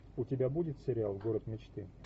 у тебя будет сериал город мечты